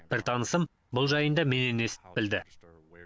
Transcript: бір танысым бұл жайында менен естіп білді